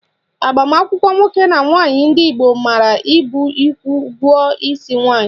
Agbamakwụkwọ nwoke na nwaanyị ndị Igbo maara bụ ịkwụ ụgwọ isi nwaanyị